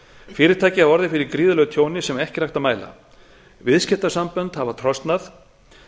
fyrirtæki hafa orðið fyrir gríðarlegu tjóni sem ekki er hægt að mæla viðskiptasambönd hafa trosnað